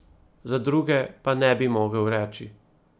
Za druge pa ne bi mogel reči ...